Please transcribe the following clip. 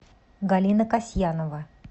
галина касьянова